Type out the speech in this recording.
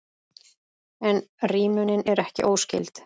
En rímunin er ekki óskyld.